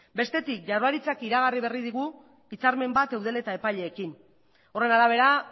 bestetik jaurlaritzak iragarri berri digu hitzarmen bat eudel eta epaileekin horren arabera